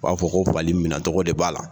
U b'a fɔ ko fali minɛcogo de b'a la